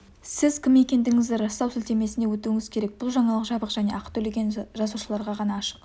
сіз кім екендігіңізді растау сілтемесіне өтуіңіз керек бұл жаңалық жабық және ақы төлеген жазылушыларға ғана ашық